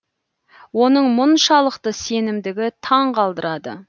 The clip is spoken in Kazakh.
оның мұншалықты сенімдігі таң қалдырады